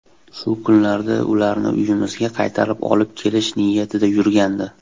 Shu kunlarda ularni uyimizga qaytarib olib kelish niyatida yurgandi.